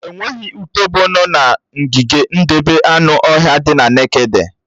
Enweghị utòbó nọ̀ n'ogige ndebé anụ ọhịa dị na nekede